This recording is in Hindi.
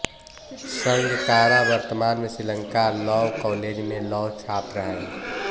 संगाकारा वर्तमान में श्रीलंका लॉ कॉलेज में लॉ छात्र हैं